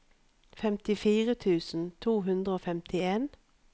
femtifire tusen to hundre og femtien